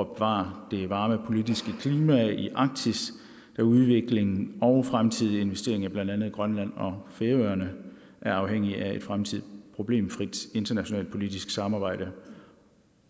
at bevare det varme politiske klima i arktis da udviklingen og fremtidige investeringer i blandt andet grønland og færøerne er afhængige af et fremtidigt problemfrit internationalt politisamarbejde